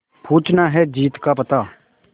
पूछना है जीत का पता